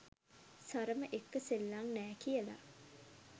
සරම එක්ක සෙල්ලං නෑ කියලා